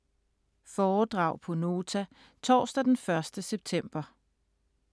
Foredrag på Nota torsdag den 1. september